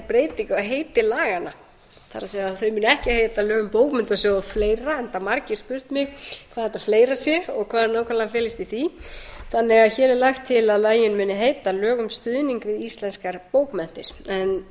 breyting á heiti laganna það er þau munu ekki heita lög um bókmenntasjóð og fleira enda margir spurt mig hvað þetta fleira sé og hvað felist nákvæmlega í því hér er lagt til að lögin aukni heita lög um stuðning við íslenskar bókmenntir ég mælti fyrir þessu frumvarpi á